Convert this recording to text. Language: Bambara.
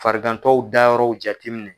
Farigantɔw dayɔrɔ jateminɛ.